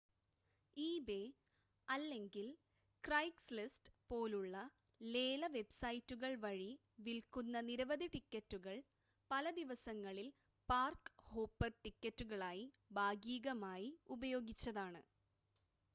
eBay അല്ലെങ്കിൽ Craigslist പോലുള്ള ലേല വെബ്സൈറ്റുകൾ വഴി വിൽക്കുന്ന നിരവധി ടിക്കറ്റുകൾ പല ദിവസങ്ങളിൽ പാർക്-ഹോപ്പർ ടിക്കറ്റുകളായി ഭാഗീകമായി ഉപയോഗിച്ചതാണ്